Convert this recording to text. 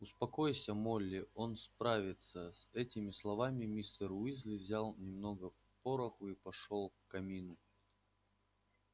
успокойся молли он справится с этими словами мистер уизли взял немножко пороху и пошёл к камину